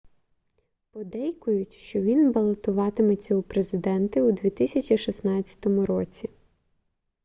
подейкують що він балотуватиметься у президенти у 2016 році